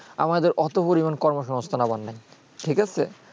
আমাদের অত পরিমান কর্মসংস্থান লাগার নাই ঠিক আছে